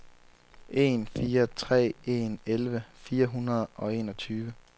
en fire tre en elleve fire hundrede og enogtyve